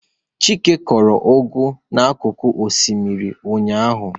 Chike kụrụ ugu n'akụkụ osimiri ụnyahụ